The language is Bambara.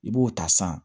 I b'o ta san